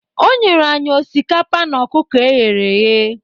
O nyere anyị osikapa na ọkụkọ e ghere eghe